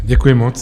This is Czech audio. Děkuji moc.